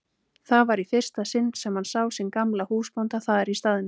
Það var í fyrsta sinn sem hann sá sinn gamla húsbónda þar í staðnum.